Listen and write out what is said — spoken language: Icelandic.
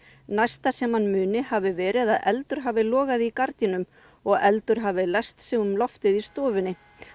næsta sem hann muni hafi verið að eldur hafi logað í gardínum og eldur hafi læst sig um loftið í stofunni